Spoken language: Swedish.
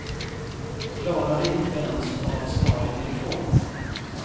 Klarade inte ens av att svara i telefonen.